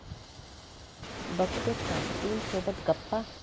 बघतोस काय...' टीमसोबत गप्पा